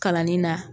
Kalanni na